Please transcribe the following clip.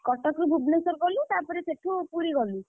କଟକରୁ ଭୁବନେଶ୍ଵର ଗଲୁ ତାପରେ ସେଠୁ ପୁରୀ ଗଲୁ?